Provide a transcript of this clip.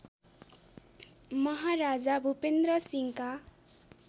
महाराजा भूपेन्‍द्र सिंहका